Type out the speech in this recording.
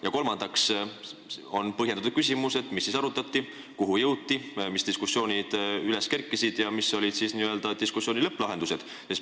Ja kolmandaks on mul põhjendatud küsimus, mida seal arutati, kuhu jõuti, millised diskussioonid üles kerkisid ja millised olid n-ö lõpplahendused.